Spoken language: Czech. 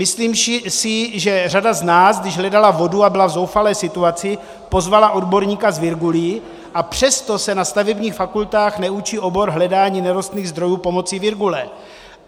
Myslím si, že řada z nás, když hledala vodu a byla v zoufalé situaci, pozvala odborníka s virgulí, a přesto se na stavebních fakultách neučí obor hledání nerostných zdrojů pomocí virgule.